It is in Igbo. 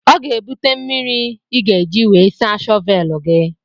Ọ ga-ebute mmiri ị ga-eji wee saa shọvelụ gị.